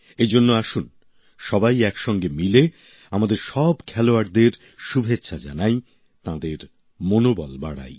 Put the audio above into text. এই জন্য আসুন সবাই একসঙ্গে মিলে আমাদের সব খেলোয়াড়দের শুভেচ্ছা জানাই তাঁদের মনোবল বাড়াই